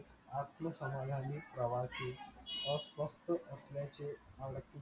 आत्म समाधानी प्रवासी अस्वस्थ असल्याचे